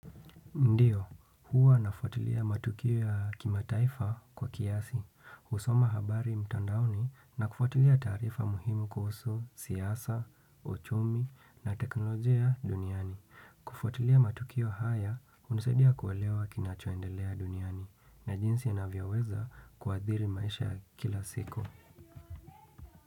Ndiyo, huwa nafuatilia matukio ya kimataifa kwa kiasi, husoma habari mtandaoni na kufuatilia taarifa muhimu kuhusu siyasa, uchumi na teknolojia duniani. Kufuatilia matukio haya, hunisaidia kuewelewa kinacho endelea duniani na jinsi inavyoweza kuadhiri maisha kila siku.